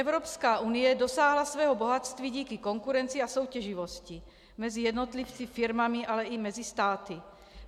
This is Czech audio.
Evropská unie dosáhla svého bohatství díky konkurenci a soutěživosti mezi jednotlivci, firmami, ale i mezi státy.